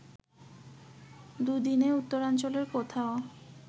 দুদিনে উত্তরাঞ্চলের কোথাও